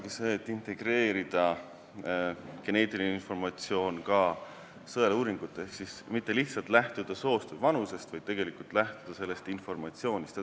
Tuleb integreerida geneetiline informatsioon ka sõeluuringutega ehk siis mitte lihtsalt lähtuda soost ja vanusest, vaid tegelikult lähtuda saadud informatsioonist.